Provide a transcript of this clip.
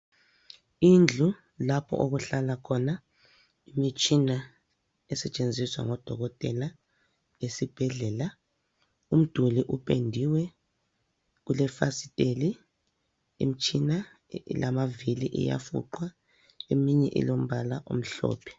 Indlu lapho okuhlala khona imitshina esetshenziswa ngodokotela esibhedlela. Umduli upendiwe. Kulefasiteli. Imtshina ilamavili iyafuqwa eminye ilombala omhlophe.